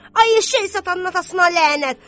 Ay eşşək satanın atasına lənət!